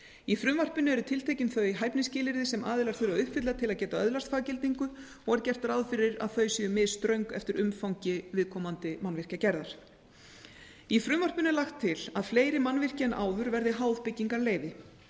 í frumvarpinu eru tiltekin þau hæfnisskilyrði sem aðilar þurfa að uppfylla til að geta öðlast faggildingu og er gert ráð fyrir að þau séu misströng eftir umfangi viðkomandi mannvirkjagerðar í frumvarpinu er lagt til að fleiri mannvirki en áður verði háð byggingarleyfi